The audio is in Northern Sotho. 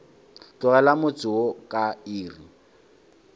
tlogela motse wo ka iri